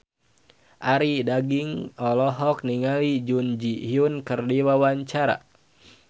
Arie Daginks olohok ningali Jun Ji Hyun keur diwawancara